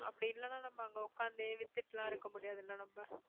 அப்படி இல்லைன்னா நம்ம அங்க உட்கார்ந்தே வித்துட்டு எல்லாம் இருக்க முடியாதுல்ல நம்ம